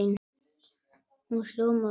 Hún hljómar svo